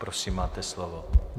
Prosím, máte slovo.